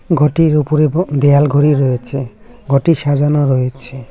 ঘরটির ওপরে ব দেওয়াল ঘড়ি রয়েছে ঘরটি সাজানো রয়েছে।